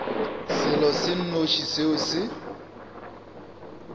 selo se nnoši seo se